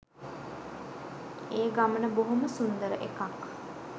ඒ ගමන බොහොම සුන්දර එකක්.